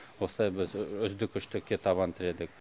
осылай біз үздік үштікке табан тіредік